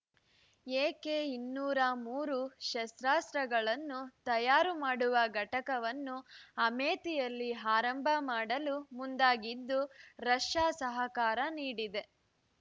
A K ಇನ್ನೂರ ಮೂರು ಶಸ್ತ್ರಾಸ್ತ್ರಗಳನ್ನು ತಯಾರು ಮಾಡುವ ಘಟಕವನ್ನು ಅಮೇಥಿಯಲ್ಲಿ ಆರಂಭ ಮಾಡಲು ಮುಂದಾಗಿದ್ದು ರಷ್ಯ ಸಹಕಾರ ನೀಡಿದೆ